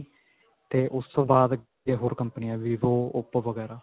ਤੇ ਉਸ ਤੋਂ ਬਾਅਦ ਹੋਰ ਕੰਮਪਨਿਆਂ vivo, oppo ਵਗੈਰਾ.